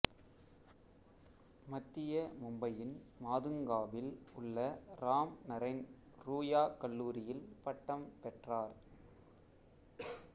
மத்திய மும்பையின் மாதுங்காவில் உள்ள ராம்நரைன் ரூயா கல்லூரியில் பட்டம் பெற்றார்